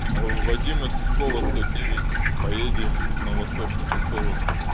алло вадима сивкова сто девять поедем в на восточный посёлок